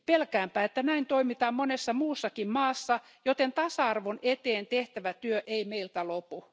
Pelkäänpä, että näin toimitaan monessa muussakin maassa, joten tasa arvon eteen tehtävä työ ei meiltä lopu.